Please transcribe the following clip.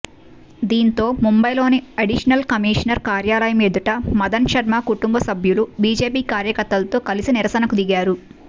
దీంతో ముంబైలోని additional commissioner కార్యాలయం ఎదుట మదన్ శర్మ కుటుంబ సభ్యులు బీజేపీ కార్యకర్తలతో కలిసి నిరసనకు దిగారు